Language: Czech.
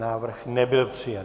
Návrh nebyl přijat.